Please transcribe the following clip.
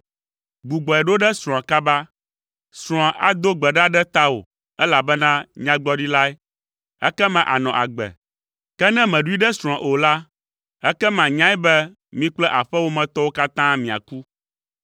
Gbugbɔe ɖo ɖe srɔ̃a kaba! Srɔ̃a ado gbe ɖa ɖe tawò, elabena nyagblɔɖilae, ekema ànɔ agbe. Ke ne mèɖoe ɖe srɔ̃a o la, ekema nyae be mi kple aƒewòmetɔwo katã miaku.”